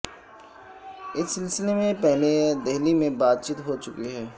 اس سلسلے میں پہلے دہلی میں بات چیت ہو چکی ہے